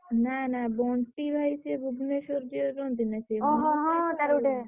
ନା ନା ବଣ୍ଟି ଭାଇ ସିଏ ଭୁବନେଶ୍ୱର ଯିଏ ରହନ୍ତି ନା।